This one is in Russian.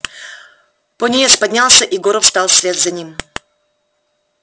пониетс поднялся и горов встал вслед за ним